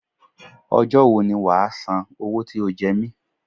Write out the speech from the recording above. Ọjọ́ wo ni wàá san owó tí o jẹ mi?